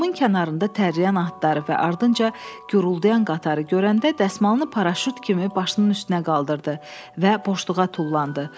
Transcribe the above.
Damın kənarında tərləyən atları və ardınca külürdayan qatarı görəndə dəsmalını paraşüt kimi başının üstünə qaldırdı və boşluğa tullandı.